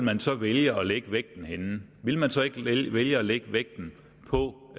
han så vælge at lægge vægten henne ville han så ikke vælge at lægge vægten på